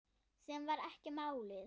Sem var ekki málið.